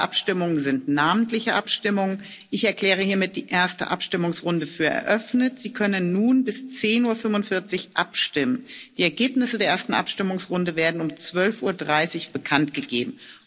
Alle Abstimmungen sind namentliche Abstimmungen. Ich erkläre hiermit die erste Abstimmungsrunde für eröffnet. Sie können nun bis 10.45 Uhr abstimmen. Die Ergebnisse der ersten Abstimmungsrunde werden um 12.30 Uhr bekanntgegeben.